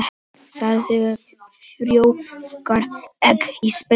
Sæðisfruma frjóvgar egg í spendýri.